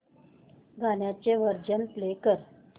गाण्याचे version play कर